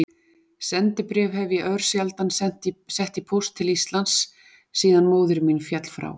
Sendibréf hef ég örsjaldan sett í póst til Íslands síðan móðir mín féll frá.